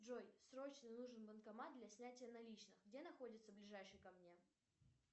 джой срочно нужен банкомат для снятия наличных где находится ближайший ко мне